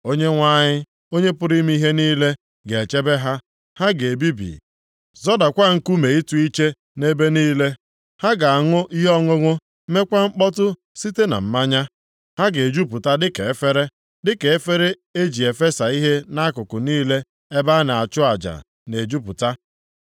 Onyenwe anyị, Onye pụrụ ime ihe niile ga-echebe ha. Ha ga-ebibi, zọdakwa nkume ịtụ iche nʼebe niile. Ha ga-aṅụ ihe ọṅụṅụ mekwa mkpọtụ site na mmanya; ha ga-ejupụta dịka efere, dịka efere eji efesa ihe nʼakụkụ niile ebe a na-achụ aja na-ejupụta.